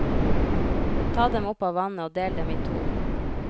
Ta dem opp av vannet og del dem i to.